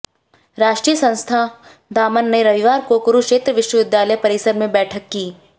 राष्ट्रीय संस्था दामन ने रविवार को कुरूक्षेत्र विश्वविद्यालय परिसर में बैठक की